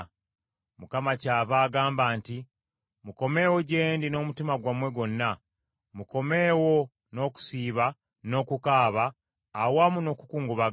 Mukama kyava agamba nti, “Mukomeewo gye ndi n’omutima gwammwe gwonna. Mukomeewo n’okusiiba n’okukaaba awamu n’okukungubaga.”